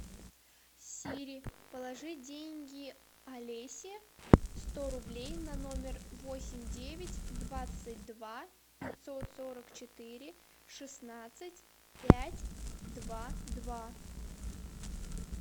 сири положи деньги алесе сто рублей на номер восемь девять двадцать два пятьсот сорок четыре шестнадцать пять два два